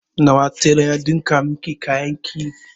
Nawa telan ya ɗinka miki kayan ki?